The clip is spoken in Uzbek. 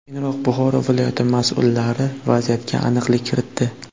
Keyinroq Buxoro viloyati mas’ullari vaziyatga aniqlik kiritdi.